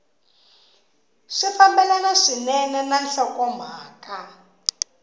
swi fambelana swinene na nhlokomhaka